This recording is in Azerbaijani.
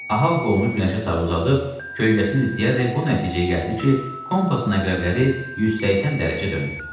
Ahab qolunu günəşə sarı uzadıb, kölgəsini izləyərək bu nəticəyə gəldi ki, kompasın əqrəbləri 180 dərəcə dönüb.